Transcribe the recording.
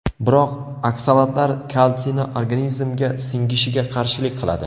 Biroq oksalatlar kalsiyni organizmga singishiga qarshilik qiladi.